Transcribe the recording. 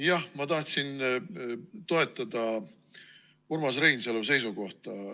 Jah, ma tahtsin toetada Urmas Reinsalu seisukohta.